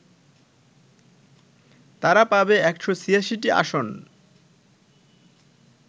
তারা পাবে ১৮৬টি আসন